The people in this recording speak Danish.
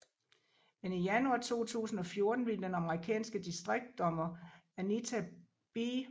Men i januar 2014 ville den amerikanske distriktsdommer Anita B